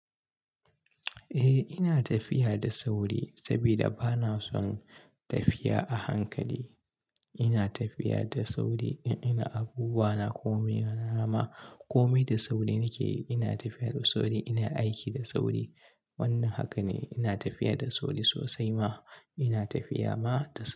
Eh ina tafiya da sauri saboda bana son tafiya a hankali. Ina tafiya da sauri in ina abubuwa na ko ina nama. Komai da sauri nake yi. Ina tafiya da sauri, ina aiki da sauri. Wannan haka ne. Ina tafiya da sauri sosai ma. Ina tafiya ma da sauri.